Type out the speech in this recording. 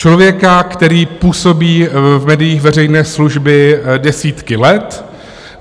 Člověka, který působí v médiích veřejné služby desítky let.